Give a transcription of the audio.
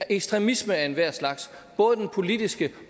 ekstremisme af enhver slags både den politiske